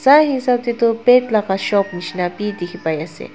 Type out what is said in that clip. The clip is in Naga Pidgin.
sa hisab tae toh laka shop nishi na bidikhipai ase.